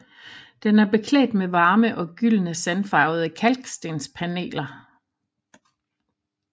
Den er beklædt med varme og gyldne sandfarvede kalkstenspaneler